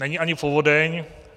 Není ani povodeň.